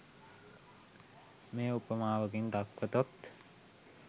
මෙය උපමාවකින් දක්වතොත්